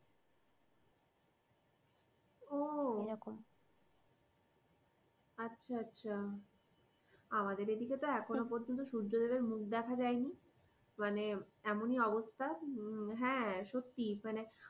ও এরকম আচ্ছা আচ্ছা আমাদের এদিকে তো এখনো পর্যন্ত সূর্যদেবের মুখ দেখা যায়নি মানে এমনই অবস্থা হ্যাঁ সত্যি মানে